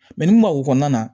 ni maak kɔnɔna na